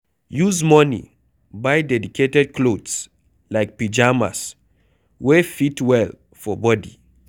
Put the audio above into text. Use money buy dedicated clothes like pyjamas wey fit well for body